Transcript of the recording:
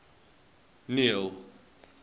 neil